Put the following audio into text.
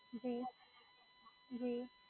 જી જી.